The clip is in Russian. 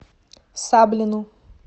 саблину